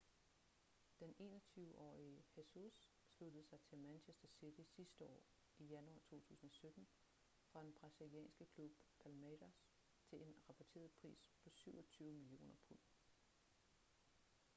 den 21-årige jesus sluttede sig til manchester city sidste år i januar 2017 fra den brasilianske klub palmeiras til en rapporteret pris på 27 millioner pund